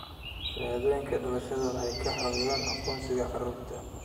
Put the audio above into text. Shahaadooyinka dhalashada waxay ka caawiyaan aqoonsiga carruurta.